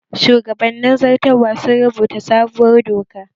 Shugabannin zartarwa sun rubuta sabuwar doka